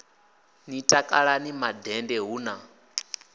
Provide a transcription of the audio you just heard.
ni takalani mandende hu na